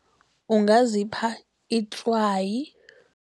Ungazipha itswayi.